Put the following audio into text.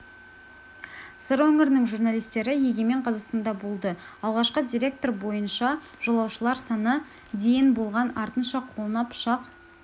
сыр өңірінің журналистері егемен қазақстанда болды алғашқы деректер бойынша жолаушылар саны дейін болған артынша қолына пышақ